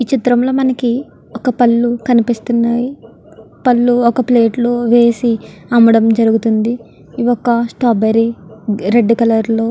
ఈ చిత్రం లో మనకి ఒక పళ్ళు కనిపిస్తున్నాయి పళ్ళు ఒక ప్లేట్ లో వేసి అమ్మడం జరుగుతుంది. ఇవొక స్ట్రాబెర్రీ రెడ్ కలర్ లో--